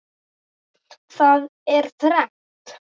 Það er þrennt.